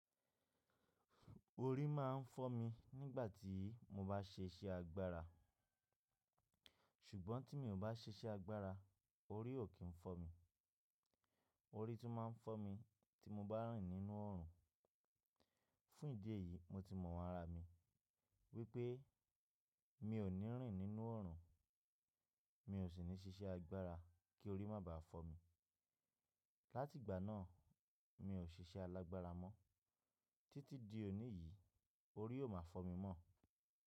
Orí máa ń fọ́ mi nígbà tí mo bá ṣe iṣẹ́ agbára, ṣùgbọ́n tí mi ò bá ṣe iṣẹ́ agbára, orí ò kí ń fọ́ mi. Orí tún máa ń fọ́ mi tí mo bá rìn nínú ọ̀run. Fún ìdí èyí, mo ti mọ iwọn ara mi wípé mi ò ní rìn nínú oòrùn, mi ò sì ní ṣe iṣẹ́ agbára kí orí má baà fọ́ mi. Láti ìgbà náà, mi ò ṣe iṣẹ́ alágbára mọ́. Títí di òní yìí, orí ò máa fọ́ mi mọ́.